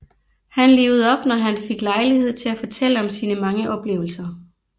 Han livede op når han fik lejlighed til at fortælle om sine mange oplevelser